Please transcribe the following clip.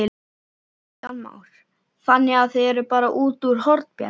Kristján Már: Þannig að þið eruð bara út úr Hornbjargi?